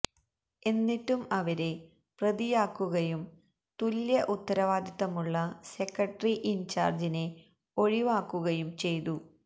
എന്നിട്ടും അവരെ പ്രതിയാക്കുകയും തുല്യഉത്തരവാദിത്തമുള്ള സെക്രട്ടറി ഇൻ ചാർജിനെ ഒഴിവാക്കുകയും ചെയ്തു